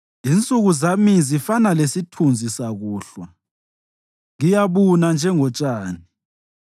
Insuku zami zifana lesithunzi sakusihlwa; ngiyabuna njengotshani.